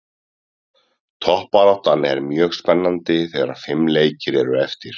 Toppbaráttan er mjög spennandi þegar fimm leikir eru eftir.